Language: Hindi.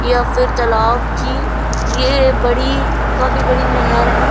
या फिर तलाव की। ये काफी बड़ी काफी बड़ी नहर है।